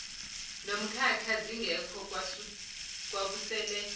nomkakhe zingekho kwakusele